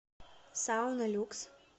сауна люкс